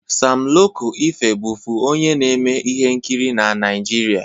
Sam Loko Efe bụfu onye na-eme ihe nkiri na Naịjirịa.